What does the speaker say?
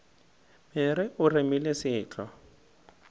mere o remile se tlo